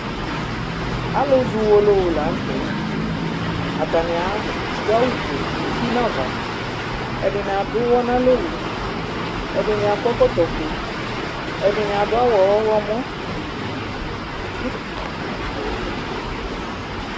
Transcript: alʊzɔ ʊwololătɛ adʊawʊfʊɛ dʊnʊ ɛkɔtɔfʊé ɛdɩnɩ adʊawʊ ɔlɔmɔ